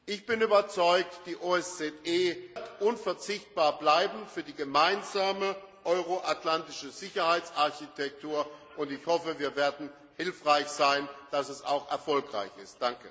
Ich bin überzeugt Die OSZE wird unverzichtbar bleiben für die gemeinsame euro atlantische Sicherheitsarchitektur, und ich hoffe, wir werden hilfreich sein, dass dies auch erfolgreich ist.